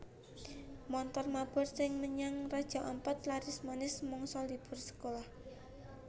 Montor mabur sing menyang Raja Ampat laris manis mangsa libur sekolah